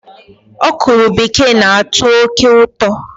Ọkwụrụ bekee na-atọ oké ụtọ